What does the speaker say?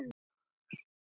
En minning um þig lifir.